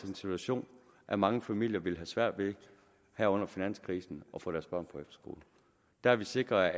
den situation at mange familier ville have svært ved her under finanskrisen at få deres børn på efterskole der har vi sikret